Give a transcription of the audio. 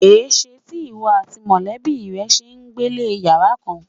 Èés̩e tí ìwo̩ àti mò̩lé̩bí rè̩ s̩e ń gbélé yàrá kán?